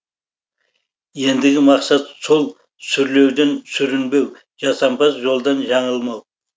ендігі мақсат сол сүрлеуден сүрінбеу жасампаз жолдан жаңылмау